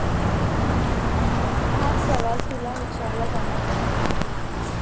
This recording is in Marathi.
हा सवाल तुला विचारला जाणार नाही.